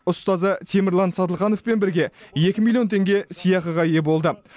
ұстазы темірлан сатылхановпен бірге екі миллион теңге сыйақыға ие болды